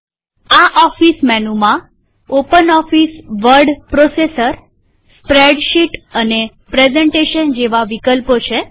આ ઓફીસ મેનુમાં OpenOffice Word processor spreadsheet અને પ્રેઝન્ટેશન જેવા વિકલ્પો છે